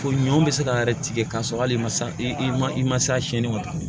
Ko ɲɔ bɛ se ka yɛrɛ tigɛ k'a sɔrɔ hali ma s i ma se a sɛni ma